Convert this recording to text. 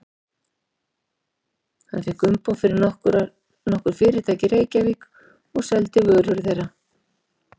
Hann fékk umboð fyrir nokkur fyrirtæki í Reykjavík og seldi vörur þeirra.